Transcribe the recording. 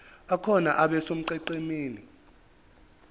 akhona abe sonqenqemeni